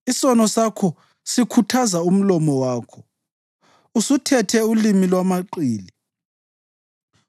Isono sakho sikhuthaza umlomo wakho; usuthethe ulimi lwamaqili.